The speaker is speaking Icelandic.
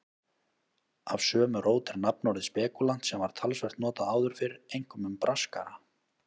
Af sömu rót er nafnorðið spekúlant sem var talsvert notað áður fyrr, einkum um braskara.